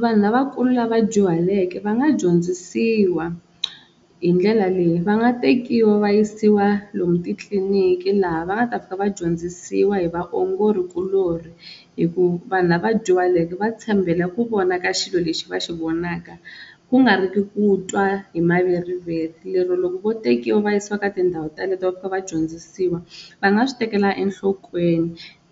Vanhu lavakulu lava dyuhaleke va nga dyondzisiwa hi ndlela leyi va nga tekiwa va yisiwa lomu titliliniki laha va nga ta fika va dyondzisiwa hi vaongorikulori hikuva vanhu lava dyuhaleke va tshembela ku vona ka xilo lexi va xi vonaka ku nga ri ki ku twa hi maveriveri, lero loko vo tekiwa va yisiwa ka tindhawu ta leto va fika va dyondzisiwa va nga swi tekela enhlokweni